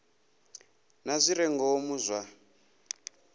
na zwi re ngomu zwa